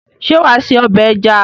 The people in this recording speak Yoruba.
Ṣé wà á sé ọbẹ̀ ẹja?